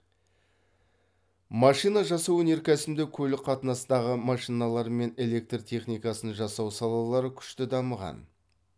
машина жасау өнеркәсібінде көлік қатынасындағы машиналар мен электр техникасын жасау салалары күшті дамыған